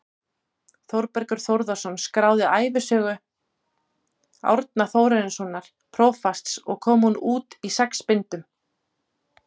Þórbergur Þórðarson skráði ævisögu Árna Þórarinssonar prófasts og kom hún út í sex bindum.